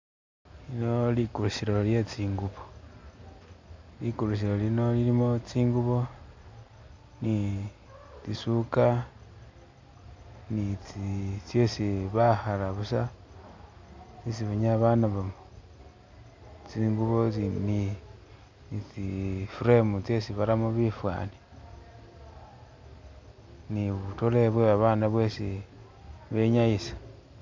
Lino likulisilo lyetsingubo likulisilo lino lilimo tsingubo ni tsisuka ni tsi tseesi bakhala buusa tsesi isi banyala banabamo tsingubo tsi ni tsi'frame tsesi baramo bifani ni'butole bwe'babana bwesi benyayisa